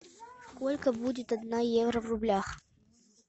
сколько будет одна евро в рублях